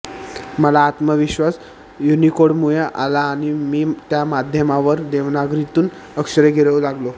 मला आत्मविश्वास युनिकोडमुळे आला आणि मी त्या माध्यमांवर देवनागरीतून अक्षरे गिरवू लागलो